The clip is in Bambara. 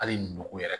Hali nogo yɛrɛ